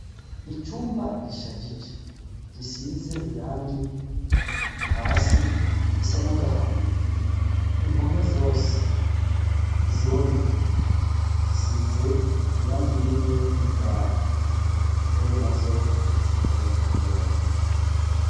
Icumba gishajije gisize irangi hasi risa nagahama, impome zose iziboneka zisize irangi rimwe n'idari, intebe nazo zitonze k'umurongo.